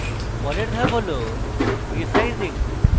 পরের ধাপ হল রীসাইজিং